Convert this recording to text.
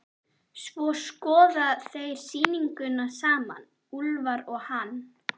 Svo skoða þeir sýninguna saman, Úlfar og hann.